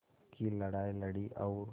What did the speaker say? की लड़ाई लड़ी और